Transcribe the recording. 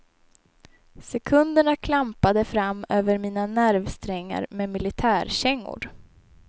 Sekunderna klampade fram över mina nervsträngar med militärkängor.